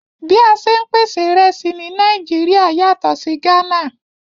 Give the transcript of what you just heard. Bí a ṣè n pèsè ìrẹ̀sì ní Nàìjíríà yàtọ̀ sí Gana